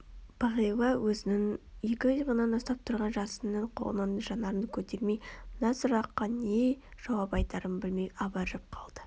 бағила өзінің екі иығынан ұстап тұрған жасынның қолынан жанарын көтермей мына сұраққа не жауап айтарын білмей абыржып қалды